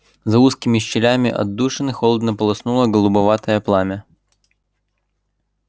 за узкими щелями отдушины холодно полоснуло голубоватое пламя